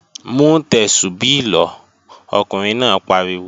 Mú Tẹ́súbí lọ, Ọkùnrin náà pariwo!